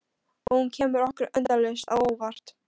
Og hún kemur okkur endalaust á óvart.